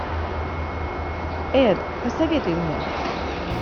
эд посоветуй мне